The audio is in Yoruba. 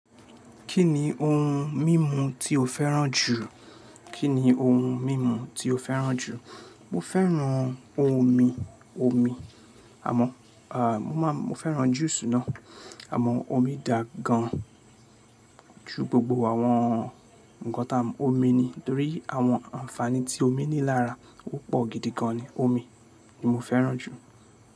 Kí ni ohun mímu tí o fẹ́ràn jù? Kí ni ohun mímu tí o fẹ́ràn jù? Mo fẹ́ràn ohun omi, omi. Àmọ́, ah, mo máa, mo fẹ́ràn juice náà. Àmọ́ omi dà gan jù gbogbo àwọn ǹkan tá mọ̀. Omi ni torí àwọn ànfàní tí omi ní lára ó pọ̀ gidi gan ni. Omi ni mo fẹ́ràn jù.